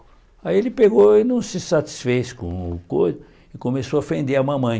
Aí ele pegou e não se satisfez com o co e começou a ofender a mamãe.